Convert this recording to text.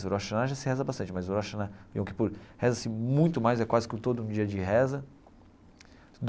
O Rosh Hashanah já se reza bastante, mas o Rosh Hashanah, o Yom Kippur, reza-se muito mais, é quase que todo um dia de reza.